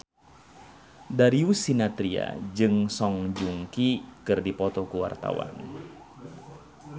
Darius Sinathrya jeung Song Joong Ki keur dipoto ku wartawan